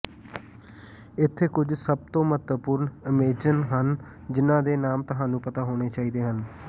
ਇੱਥੇ ਕੁਝ ਸਭ ਤੋਂ ਮਹੱਤਵਪੂਰਣ ਅਮੇਜਨ ਹਨ ਜਿਨ੍ਹਾਂ ਦੇ ਨਾਮ ਤੁਹਾਨੂੰ ਪਤਾ ਹੋਣੇ ਚਾਹੀਦੇ ਹਨ